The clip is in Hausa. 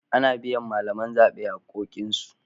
An biya malaman zaɓe haƙƙoƙinsu.